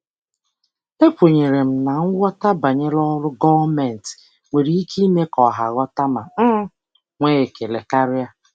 Ekwenyere m na nghọta banyere ọrụ gọọmentị nwere ike ime ka ọha ghọta ma um nwee ekele karịa.